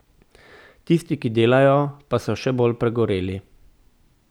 Tisti, ki delajo, pa so še bolj pregoreli.